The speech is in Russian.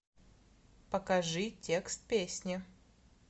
покажи текст песни